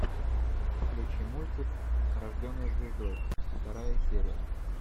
включи мультик рожденная звездой вторая серия